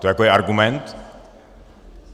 To jako je argument?